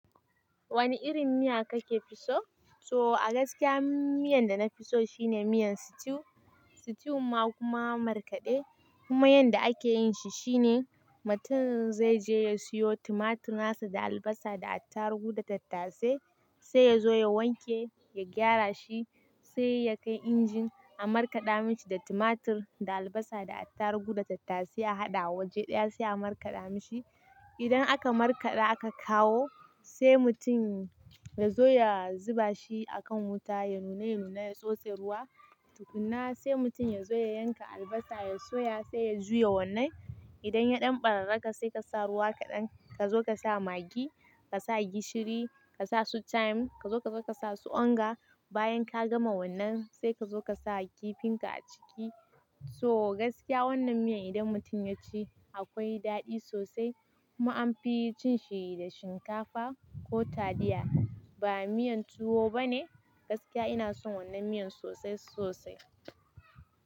Wani irin miya kake fi so? So a gaskiya miyan da na fi so shine miyan stew. Stew ma kuma markaɗe kuma yanda ake yinshi shine mutum zai je ya siyo tumatir nasa da albasa da attaruhu da tattasai. Sai ya zo ya wanke, ya gyara shi sai ya kai injin a markaɗa mishi da tumatir da albasa da attaruhu da tattasai a haɗa waje ɗaya sai a markaɗa mishi. Idan aka markaɗa aka kawo sai mutum ya zo ya zuba shi a kan wuta ya nuna ya nuna ya tsotse ruwa tukuna sai mutum ya zo ya yanka albasa ya soya sai ya juya wannan. Idan ya ɗan ɓararraka sai ka sa ruwa kaɗan ka zo ka sa maggi, ka sa gishiri, ka sa su chime ka zo ka zo ka sa su onga bayan ka gama wannan sai ka zo ka sa kifin ka a ciki. So gaskiya wannan miyan idan mutum ya ci akwai daɗi sosai kuma anfi cin shi da shinkafa ko taliya. Ba miyan tuwo bane. Gaskiya ina son wannan miyan sosai sosai.